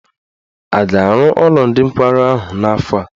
A ga-arụ ụlọ ndị nkwarụ ahụ n'afọ a?